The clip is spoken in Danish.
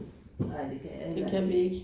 Nej det kan jeg heller ikke